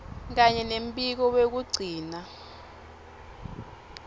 kanye nembiko wekugcina